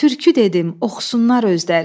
Türkü dedim, oxusunlar özləri.